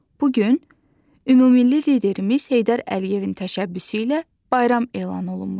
Bu gün ümummilli liderimiz Heydər Əliyevin təşəbbüsü ilə bayram elan olunmuşdur.